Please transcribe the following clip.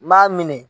N b'a minɛ